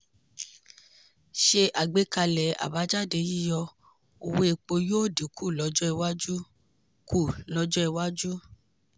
ṣe àgbékalẹ̀ àbájáde yíyọ owó epo yóò dín kù lọ́jọ́ iwájú. kù lọ́jọ́ iwájú.